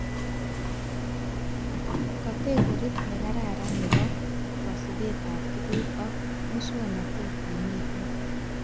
Kategorit nekararan nebo kasubetab tuguk ak muswonotet nemiten